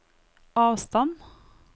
avstand